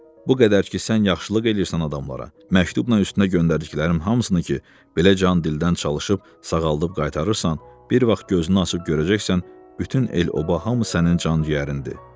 Bu qədər ki, sən yaxşılıq eləyirsən adamlara, məktubla üstünə göndərdiklərimin hamısını ki, belə can-dildən çalışıb sağaldıb qaytarırsan, bir vaxt gözünü açıb görəcəksən, bütün el-oba, hamı sənin can-cəyərindir.